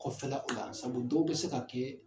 Kɔfɛ la o la, sabu dɔw be se ka kɛ